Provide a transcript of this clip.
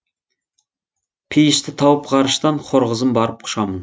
пейішті тауып ғарыштан хор қызын барып құшамын